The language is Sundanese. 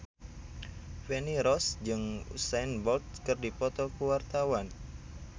Feni Rose jeung Usain Bolt keur dipoto ku wartawan